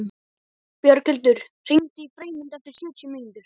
Björghildur, hringdu í Freymund eftir sjötíu mínútur.